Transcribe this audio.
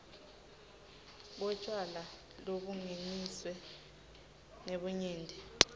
kwetjwala lobungeniswe ngebunyenti